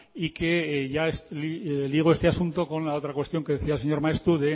y que ya ligo este asunto con la otra cuestión que decía el señor maeztu